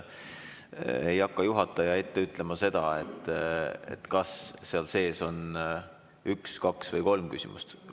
Ei hakka juhataja ette ütlema, kas seal on üks küsimus, kaks või kolm küsimust.